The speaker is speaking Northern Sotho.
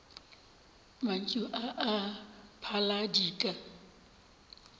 mantšu a a phala dika